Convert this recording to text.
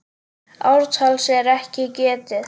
Ártals er ekki getið.